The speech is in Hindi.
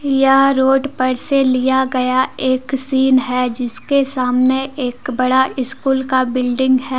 यह रोड पर से लिया गया एक सीन है। जिसके सामने एक बड़ा स्कूल का बिल्डिंग है।